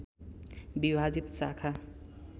विभाजित शाखा